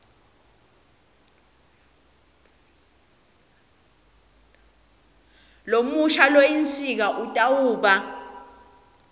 lomusha loyinsika kutawuba